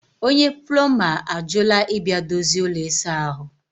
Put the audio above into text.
onye plọmba ajụla ịbịa dozie ụlọ ịsa ahụ